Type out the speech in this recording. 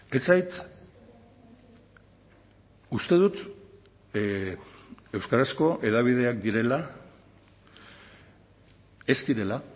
ez zait uste dut euskarazko hedabideak direla ez direla